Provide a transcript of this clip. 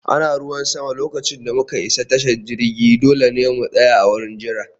Ana ruwan sama lokacin da muka isa tashar jirgin, dole ne mu tsaya a wurin jira